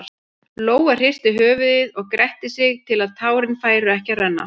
Lóa hristi höfuðið og gretti sig til að tárin færu ekki að renna.